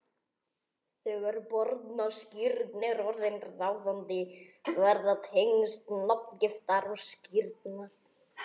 Þegar barnaskírn er orðin ráðandi verða tengsl nafngiftar og skírnar